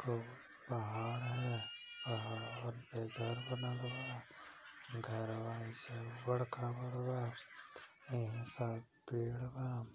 खूब पहाड़ हैं। पहाड़ पे घर बनल बा। घरवा ऐसे ऊबड़ खाबड़ बा। एही सा पेड़ बा।